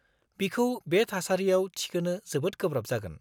-बिखौ बे थासरियाव थिखोनो जोबोद गोब्राब जागोन।